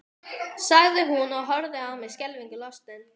sagði hún og horfði á mig skelfingu lostin.